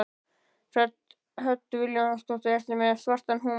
Hödd Vilhjálmsdóttir: Ertu með svartan húmor?